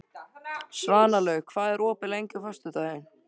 Svanlaug, hvað er opið lengi á föstudaginn?